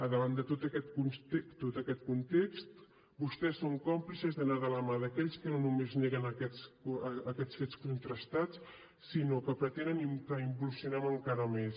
davant de tot aquest context vostès són còmplices d’anar de la mà d’aquells que no només neguen aquests fets contrastats sinó que pretenen que involucionem encara més